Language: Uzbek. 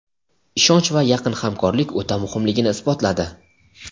ishonch va yaqin hamkorlik o‘ta muhimligini isbotladi.